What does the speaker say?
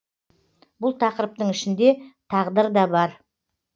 бұл тақырыптың ішінде тағдыр да бар